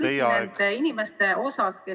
... kõikide nende inimeste osas, kes ...